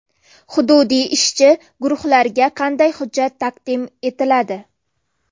Hududiy ishchi guruhlarga qanday hujjat taqdim etiladi?